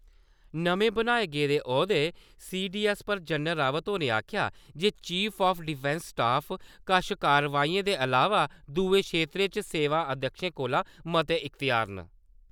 नमें बनाए गेदे औह्दे सीडीएस पर जनरल रावत होरें आखेआ जे चीफ ऑफ डिफैंस स्टाफ कश कार्यवाहिएं दे इलावा दुए खेतरें च सेवा अध्यक्षें कोला मते इख्तेयार न ।